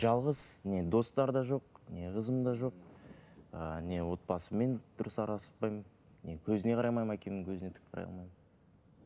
жалғыз не достар да жоқ не қызым да жоқ ыыы не отбасыммен дұрыс араласпаймын не көзіне қарай алмаймын әкемнің көзіне тік қарай алмаймын